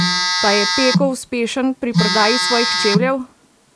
Pa je Peko uspešen pri prodaji svojih čevljev?